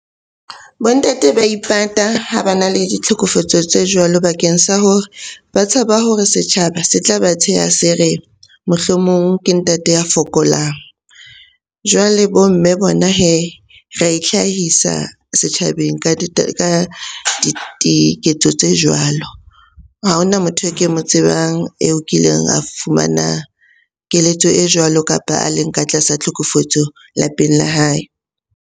Bo ntate ba ipata ha bana le di tlhokofetso tse jwalo bakeng sa hore ba tshaba hore setjhaba se tla ba tsheha se re, mohlomong ke ntate ya fokolang. Jwale bo mme bona hee ra e itlhahisa setjhabeng ka tse jwalo. Ha hona motho e ke mo tsebang eo kileng a fumana keletso e jwalo, kapa a leng ka tlasa tlhokofetso lapeng la hae.